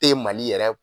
Te mali yɛrɛ